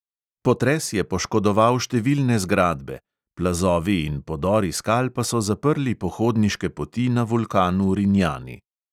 Potres je poškodoval številne zgradbe, plazovi in podori skal pa so zaprli pohodniške poti na vulkanu rinjani.